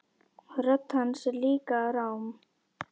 Rödd hans er líka rám.